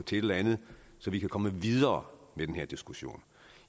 til et eller andet så vi kan komme videre med den her diskussion